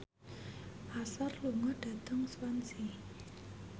Usher lunga dhateng Swansea